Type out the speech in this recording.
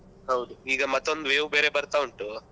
ಹೌದು ಈಗ ಮತ್ತೊಂದು wave ಬರ್ತಾ ಉಂಟು.